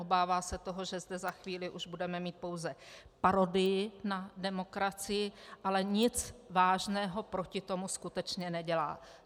Obává se toho, že zde za chvíli už budeme mít pouze parodii na demokracii, ale nic vážného proti tomu skutečně nedělá.